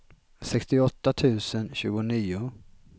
sextioåtta tusen tjugonio